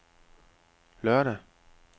lørdag